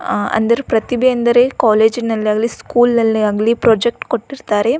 ಆಹ್‌ ಅಂದರೆ ಪ್ರತಿಭೆ ಅಂದರೆ ಕಾಲೇಜಿ ನಲ್ಲಾಗಲಿ ಸ್ಕೂಲ್ ನಲ್ಲಾಗ್ಲಿ ಪ್ರೋಜೆಕ್ಟ್ ಕೊಟ್ಟಿರ್ತಾರೆ--